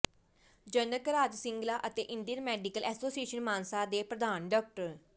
ਜਨਕ ਰਾਜ ਸਿੰਗਲਾ ਅਤੇ Indian medical association Mansa ਦੇ ਪ੍ਰਧਾਨ ਡਾ